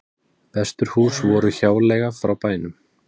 Veturhús voru hjáleiga frá bænum